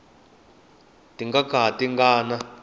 ti nga ka ti nga